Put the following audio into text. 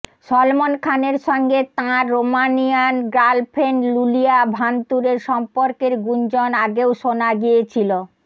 সলমন খানের সঙ্গে তাঁর রোমানিয়ান গার্লফ্রেন্ড লুলিয়া ভানতুরের সম্পর্কের গুঞ্জন আগেও শোনা গিয়েছিল